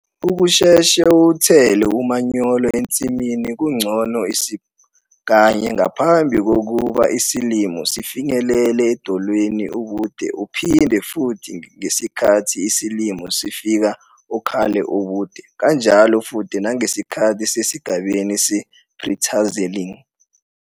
Ukusheshe uwuthele umanyolo ensimini kungcono isib. kanye ngaphambi kokuba isilimo sifinyelele edolweni ubude uphinde futhi ngesikhathi isilimo sifika okhalo ubude kanjalo futhi nangesikhathi sisesigabeni se-pre-tasselling.